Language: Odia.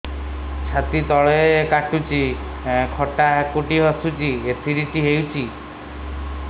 ଛାତି ତଳେ କାଟୁଚି ଖଟା ହାକୁଟି ଆସୁଚି ଏସିଡିଟି ହେଇଚି